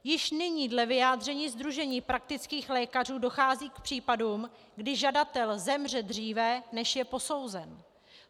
Již nyní dle vyjádření sdružení praktických lékařů dochází k případům, kdy žadatel zemře dříve, než je posouzen.